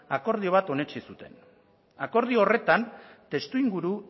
akordio bat onetsi zuten akordio horretan testuinguru